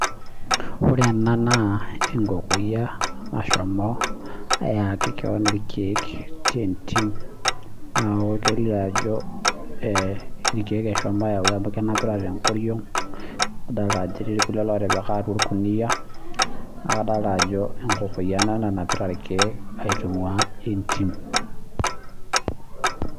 Ore ena naa enkokoyia nashomo ayaki kewon irkeek tee entim naa kelio Ajo ilkeek eshomo ayau amu kenapita tenkoriog nadolita Ajo etii irkulie otipika atua orkunia adolita Ajo enkokoyia nanapita irkeek aitungua entim